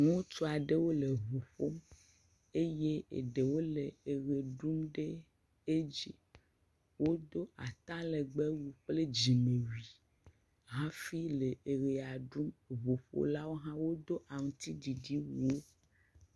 Ŋutsu aɖewo le ŋu ƒom eye eɖewo le eʋe ɖum ɖe edzi wodo ata legfbee wui kple dzime wui hafi le eʋea ɖum, ŋuƒolawo hã wodo awu aŋutiɖiɖi.